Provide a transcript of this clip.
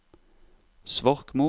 Svorkmo